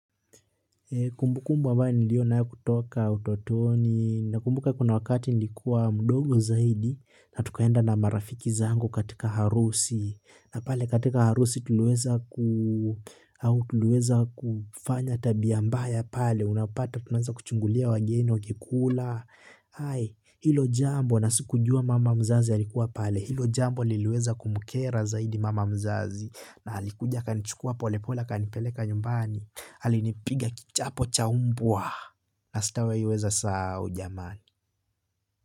Kumbukumbu ambayo niliyo nayo kutoka utotoni nakumbuka kuna wakati nilikuwa mdogo zaidi na tukaenda na marafiki zangu katika harusi na pale katika harusi tuliweza kufanya tabia mbaya pale unapata tuna anza kuchungulia wageni wakikula hae ilo jambo na sikujua mama mzazi alikuwa pale ilo jambo liluweza kumukera zaidi mama mzazi na halikuja kanichukua pole pole kanipeleka nyumbani. Hali nipiga kichapo chaumbua. Na sita wahi weza sahau jamani.